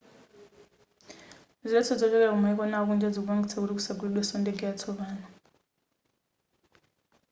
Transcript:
ziletso zochokera kumayiko ena akunja zikupangitsa kuti kusagulidweso ndege yatsopano